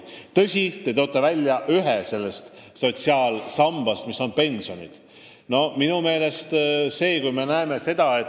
Tõsi, te toote välja ühe osa sellest sotsiaalsambast, milleks on pensionid.